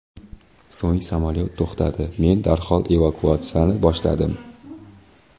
So‘ng samolyot to‘xtadi, men darhol evakuatsiyani boshladim.